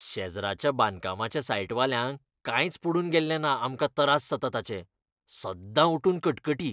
शेजराच्या बांदकामाच्या सायटवाल्यांक कांयच पडून गेल्लें ना आमकां तरास जातात ताचें. सद्दां उठून कटकटी!